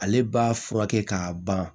Ale b'a furakɛ k'a ban